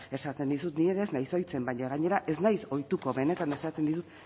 esaten dizut ni ere ez nahiz ohitzen baina gainera ez naiz ohituko benetan esaten dizut